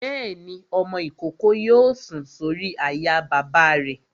Bẹ́ẹ̀ni, ọmọ-ìkókó yóò sùn sórí àyà bàbá rẹ̀